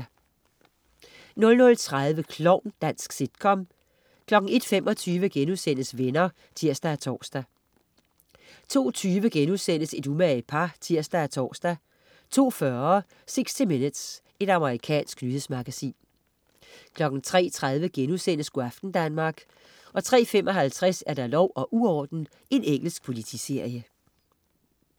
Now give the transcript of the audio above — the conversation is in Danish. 00.30 Klovn. Dansk sitcom 01.25 Venner* (tirs og tors) 02.20 Et umage par* (tirs og tors) 02.40 60 minutes. Amerikansk nyhedsmagasin 03.30 Go' aften Danmark* 03.55 Lov og uorden. Engelsk politiserie